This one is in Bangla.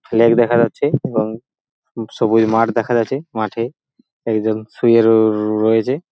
ফ্ল্যাগ দেখা যাচ্ছে এবংসবুজ মাঠ দেখা যাচ্ছে এবং মাঠে একজন শুয়ে র রয়েছে ।